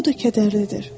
Bu da kədərlidir.